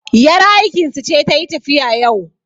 yar aikinsu ce ta yi tafiya yau